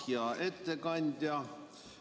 Hea ettekandja!